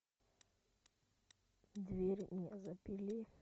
дверь мне запили